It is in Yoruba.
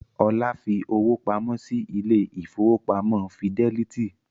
Olá fi owó pamọ́ sí ilé ìfowópamọ́ Fídẹ́lítì